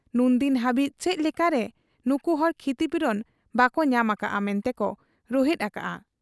ᱱᱩᱱᱫᱤᱱ ᱦᱟᱹᱵᱤᱡ ᱪᱮᱫ ᱞᱮᱠᱟᱨᱮ ᱱᱩᱠᱩᱦᱚᱲ ᱠᱷᱤᱛᱤᱯᱩᱨᱚᱱ ᱵᱟᱠᱚ ᱧᱟᱢ ᱟᱠᱟᱜ ᱟ ᱢᱮᱱᱛᱮᱠᱚ ᱨᱩᱦᱮᱫ ᱟᱠᱟᱜ ᱟ ᱾